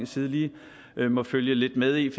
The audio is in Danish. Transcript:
side lige må følge lidt med i